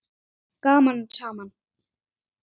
Gaman saman.